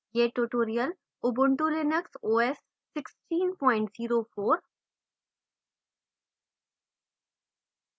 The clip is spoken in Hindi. यह tutorial ubuntu linux os 1604